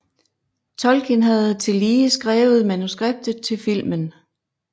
Tolkin havde tillige skrievet manuskriptet til filmen